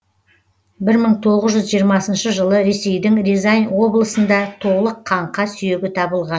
бір мың тоғыз жүз жиырмасыншы жылы ресейдің рязань облысында толық қаңқа сүйегі табылған